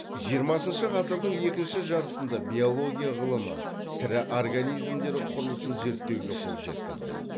жиырмасыншы ғасырдың екінші жартысында биология ғылымы тірі организмдер құрылысын зерттеуге қол жеткізді